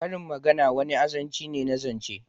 Karin magana wani azanci ne na zance